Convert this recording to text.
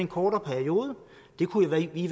kortere periode det kunne vi i